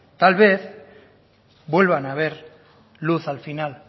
tal vez vuelvan a ver luz al final